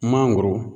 Mangoro